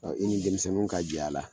i ni denmisɛnnu ka jɛ a la